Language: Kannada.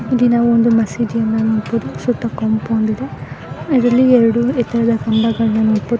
ಇಲ್ಲಿ ನಾವು ಒಂದು ಮಸೀದಿಯನ್ನ ನೋಡಬಹುದು ಸುತ್ತ ಕಾಂಪೌಂಡ್ ಇದೆ .